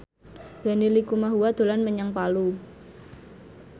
Benny Likumahua dolan menyang Palu